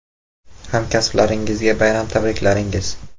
Hamkasblaringizga bayram tabriklaringiz!